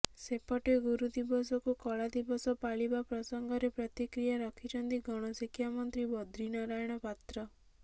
ସେପଟେ ଗୁରୁ ଦିବସକୁ କଳାଦିବସ ପାଳିବା ପ୍ରସଙ୍ଗରେ ପ୍ରତିକ୍ରିୟା ରଖିଛନ୍ତି ଗଣ ଶିକ୍ଷାମନ୍ତ୍ରୀ ବଦ୍ରିନାରାୟଣ ପାତ୍ର